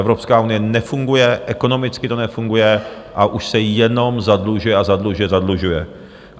Evropská unie nefunguje, ekonomicky to nefunguje, a už se jenom zadlužuje a zadlužuje, zadlužuje.